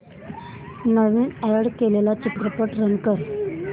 नवीन add केलेला चित्रपट run कर